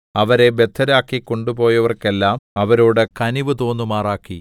അവരെ ബദ്ധരാക്കി കൊണ്ടുപോയവർക്കെല്ലാം അവരോട് കനിവ് തോന്നുമാറാക്കി